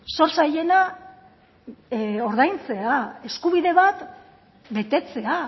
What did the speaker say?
zor zailena ordaintzea eskubide bat betetzea